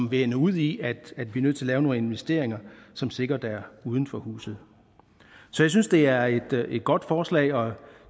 vil ende ud i at vi nødt til at lave nogle investeringer som sikkert ligger uden for huset jeg synes det er et godt forslag og